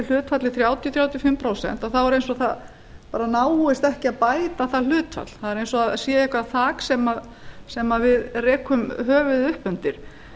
hlutfallið þrjátíu til þrjátíu og fimm prósent þá er eins og það bara náist ekki að bæta það hlutfall það er eins og það sé eitthvað þak sem við rekum höfuðið uppundir